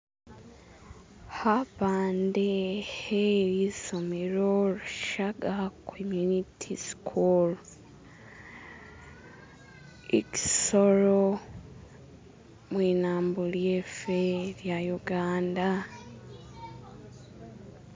Kapande ke lisomelo Rwishaga community school i kisoro mwinambo lyefe lya uganda.